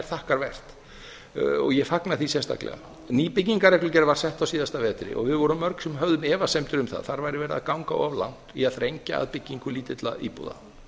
er þakkarvert og ég fagna því sérstaklega nýbyggingarreglugerð var sett á síðasta vetri og við vorum mörg sem höfðum efasemdir um að þar væri verið að ganga of langt í að þrengja að byggingu lítilla íbúða